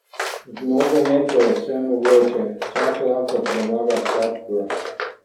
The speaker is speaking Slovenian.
V nogometu je vse mogoče, vsak lahko premaga vsakogar.